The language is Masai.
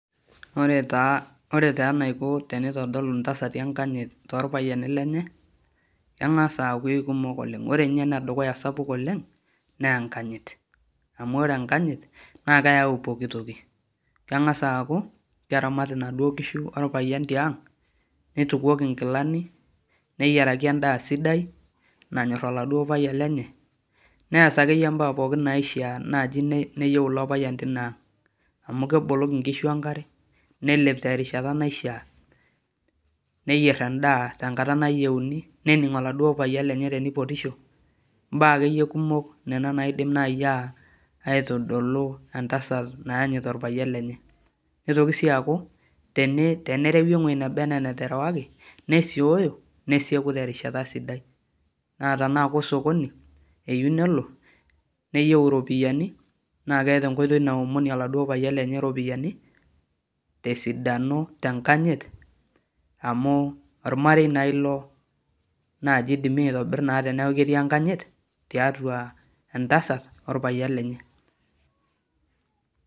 Ore taa eniko tenitodolu ntasati enkanyit torpayiani lenye, kengas aaku eikumok oleng ore ninye enedukya sapuk oleng naa enkanyit amu ore enkajit kengas aaku keramat nkishu orpayian tiang, nitukuoki nkilani neyiaraki endaa sidai nanyor oladuo payian lenye ,nees akeyia mbaa naishaa naji neyieu ilo payian tinaang. amu keboloki nkishu enkare nelep tenkata naishaa ,nayier endaa tenkata nayieuni ,nening oladuo payian tenipotisho ,mbaa naaji ena naidim aitodolu entasat nayanyit orpayian lenye ,nitoki sii aku tenerei eweji nana enaa enarewi nesioyo nesieku terishata sidai na tena kosokoni eyieu nelo nayieu iropiyiani naa keeta enkoitoi naomonie oladuo payian lenye ropiyiani tesidano tenkanyit amu ormarei naa ilo laa kaidim aoribira teneeku naa ketii enkanyit tialo enatasat orpayian lenye.